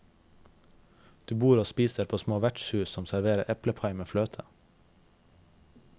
Du bor og spiser på små vertshus som serverer eplepai med fløte.